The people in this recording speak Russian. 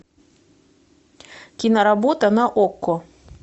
киноработа на окко